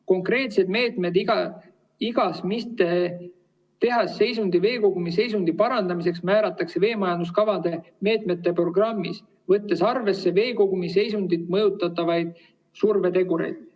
Konkreetsed meetmed iga mitteheas seisundis veekogumi seisundi parandamiseks määratakse veemajanduskavade meetmete programmis, võttes arvesse veekogumi seisundit mõjutavaid survetegureid.